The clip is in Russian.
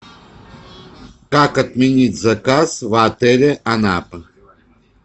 как отменить заказ в отеле анапа